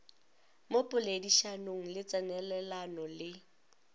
mo poledišanong le tsenelelano le